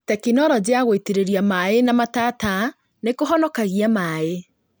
Tekinoroji ya gũitĩrĩria maĩ na matata nĩkũhonokagia maĩ